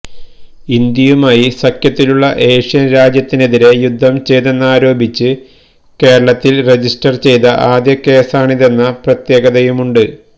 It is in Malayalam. ഇന്ത്യയുമായി സഖ്യത്തിലുള്ള ഏഷ്യന് രാജ്യത്തിനെതിരേ യുദ്ധം ചെയ്തെന്നാരോപിച്ച് കേരളത്തില് രജിസ്റ്റര് ചെയ്ത ആദ്യ കേസാണിതെന്ന പ്രത്യേകതയുമുണ്ട്